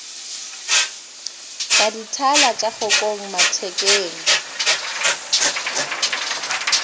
ka dithala tša kgokong mathekeng